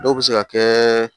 Dɔw bɛ se ka kɛ